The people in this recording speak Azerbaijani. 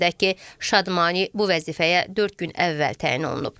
Qeyd edək ki, Şadmani bu vəzifəyə dörd gün əvvəl təyin olunub.